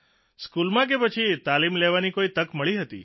સ્કૂલમાં કે પછી તાલીમ લેવાની કોઇ તક મળી હતી